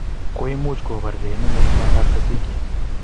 koimuch kobargei inendet bondatab Cecelia